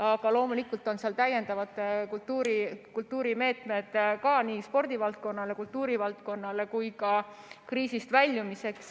Aga loomulikult on seal täiendavad kultuurimeetmed ka, nii spordivaldkonnale ja kultuurivaldkonnale kui ka kriisist väljumiseks.